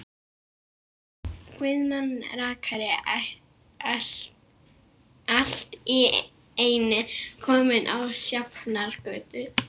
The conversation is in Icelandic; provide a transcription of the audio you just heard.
Guðmann rakari allt í einu kominn á Sjafnargötu.